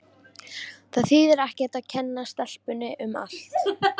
Það þýðir ekkert að kenna stelpunni um allt.